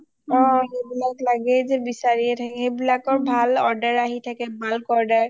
অ সেইবিলাক লাগেই বিচাৰীয়ে থাকে সেইবোৰৰ ভাল order আহি থাকে bulk order